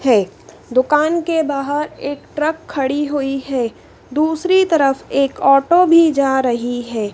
है दुकान के बाहर एक ट्रक खड़ी हुई है दूसरी तरफ एक ऑटो भी जा रही है।